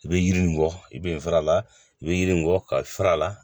I bɛ yiri nin bɔ i bɛ fara la i bɛ yiri kɔ ka fara a la